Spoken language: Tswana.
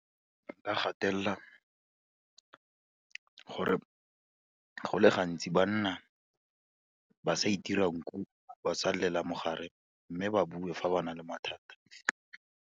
Nka gatelela gore, go le gantsi banna ba sa itira nku, ba sa lelela ka mo gare, mme ba bue fa ba na le mathata.